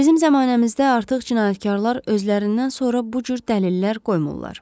Bizim zəmanəmizdə artıq cinayətkarlar özlərindən sonra bu cür dəlillər qoymurlar.